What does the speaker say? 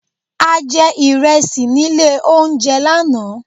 A jẹ ìrẹsì nílé oúnjẹ lánáà